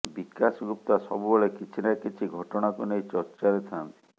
ବିକାଶ ଗୁପ୍ତା ସବୁବେଳେ କିଛି ନା କିଛି ଘଟଣାକୁ ନେଇ ଚର୍ଚ୍ଚାରେ ଥାନ୍ତି